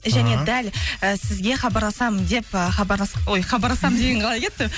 және дәл і сізге хабарласамын деп ы хабарлас ой хабарласам деген қалай кетті